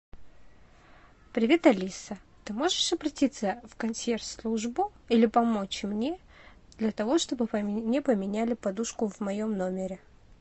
привет алиса ты можешь обратиться в консьерж службу или помочь мне для того чтобы мне поменяли подушку в моем номере